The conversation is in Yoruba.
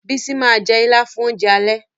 Bísí ma jẹ́ Ìlá fún oúnjẹ alẹ́